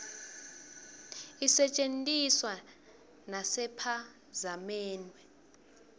isetje ntiswa nasepha zamenbe